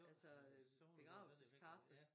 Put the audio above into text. Altså begravelseskaffe